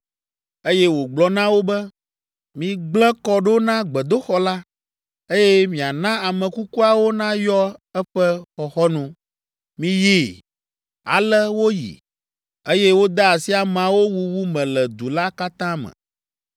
Eye wògblɔ na wo be, “Migblẽ kɔ ɖo na gbedoxɔ la, eye miana ame kukuawo nayɔ eƒe xɔxɔnu. Miyi!” Ale woyi, eye wode asi ameawo wuwu me le du la katã me.